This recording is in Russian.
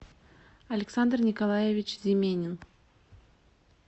александр николаевич земенин